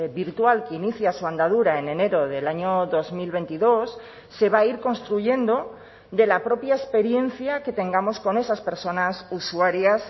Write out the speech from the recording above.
virtual que inicia su andadura en enero del año dos mil veintidós se va a ir construyendo de la propia experiencia que tengamos con esas personas usuarias